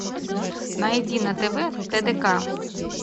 найди на тв тдк